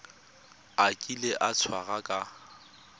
a kile a tshwarwa ka